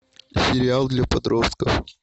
сериал для подростков